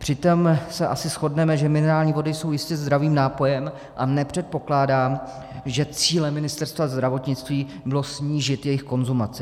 Přitom se asi shodneme, že minerální vody jsou jistě zdravým nápojem, a nepředpokládám, že cílem Ministerstva zdravotnictví bylo snížit jejich konzumaci.